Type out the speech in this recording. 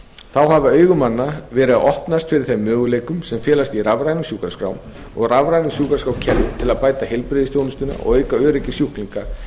þá hafa augu manna verið að opnast fyrir þeim möguleikum sem felast í rafrænum sjúkraskrám og rafrænu sjúkraskrárkerfi til að bæta heilbrigðisþjónustuna og auka öryggi sjúklinga